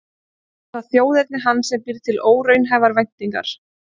Kannski er það þjóðerni hans sem býr til óraunhæfar væntingar.